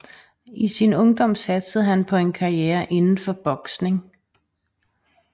I sin ungdom satsede han på en karriere inden for boksning